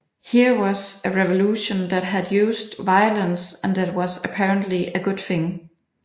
Here was a revolution that had used violence and that was apparently a good thing